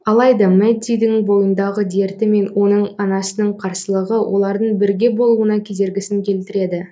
алайда мэддидің бойындағы дерті мен оның анасының қарсылығы олардың бірге болуына кедергісін келтіреді